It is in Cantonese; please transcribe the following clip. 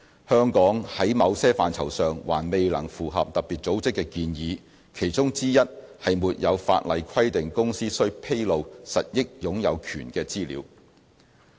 香港在某些範疇上還未能符合特別組織的建議，其中之一是沒有法例規定公司須披露實益擁有權的資料。